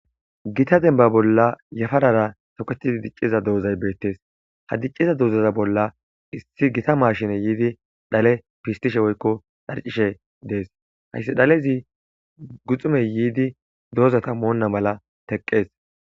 Gita demba bolla yafarara toketid diciza dizay betes, ha diciza doza bolla issi gita mashiney yid dhale pistushe woykko dharcishe Des, hays dhalez guxuney yiid dozata Mona mala teqes.